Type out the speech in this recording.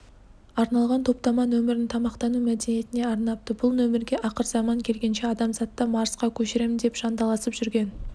арналған топтама нөмірін тамақтану мәдениетіне арнапты бұл нөмірге ақырзаман келгенше адамзатты марсқа көшірем деп жанталасып жүрген